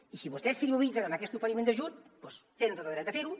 i si vostès frivolitzen amb aquest oferiment d’ajut doncs tenen tot el dret a fer ho